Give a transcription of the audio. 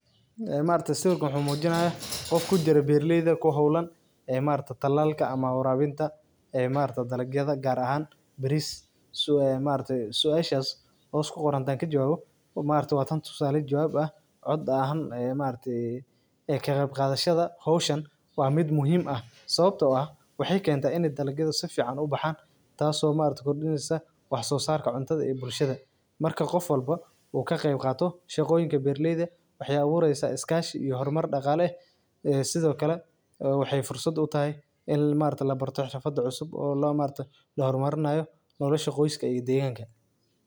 Beerta bariiska waa goob muhiim ah oo ka mid ah beeraha ugu muhiimsan ee dalkeenna. Bariisku waa dalag u baahan biyo badan iyo xaalad cimilo oo kulul si uu si wanaagsan u koro. Beerta bariiska waxaa lagu waraabiyaa biyo joogto ah, taasoo ka dhigaysa ciidda mid qoyan, taasoo ka caawisa in bariisku helo nafaqo iyo biyo ku filan. Beerta bariiska waxaa sidoo kale laga heli karaa noocyo kala duwan oo cayayaanka iyo cudurrada keena.